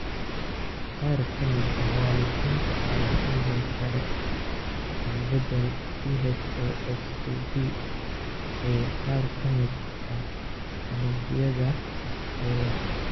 Qaar ka mid ah waalidiintan ayaa sidoo kale leh isbeddel PHOX2B ee qaar ka mid ah unugyada jirkooda.